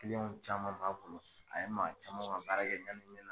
Kiliyanw caman m'a bolo a ye maa camanw ka baara yanni